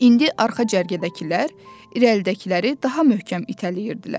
İndi arxa cərgədəkilər irəlidəkiləri daha möhkəm itələyirdilər.